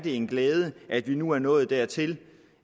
en glæde at vi nu er nået dertil